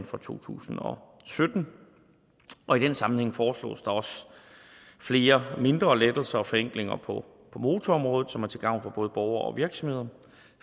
fra to tusind og sytten og i den sammenhæng foreslås der også flere mindre lettelser og forenklinger på motorområdet som er til gavn for både borgere og virksomheder